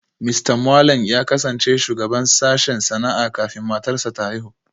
Mista Mwaleng ya kasance shugaban sashen sana'a kafin matarsa ​​ta haihu